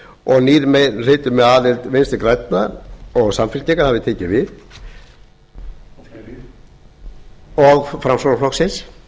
og nýr meirihluti með aðild vinstri grænna framsóknarflokksins og samfylkingar hafði tekið við